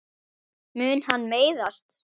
Mun hann meiðast?